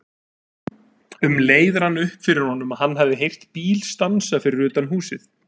Um leið rann upp fyrir honum að hann hafði heyrt bíl stansa fyrir utan húsið.